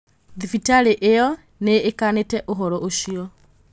Thibitarĩ ĩyo nĩkanĩte ũhoro ũcio